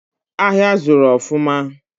Ahịa zuru ofuma